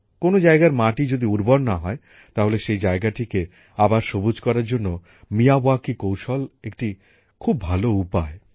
কোনো জায়গার মাটি যদি উর্বর না হয় তাহলে সেই জায়গাটিকে আবার সবুজ করার জন্য মিয়াওয়াকি কৌশল একটি খুব ভালো উপায়